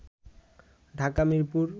Dhaka Mirpur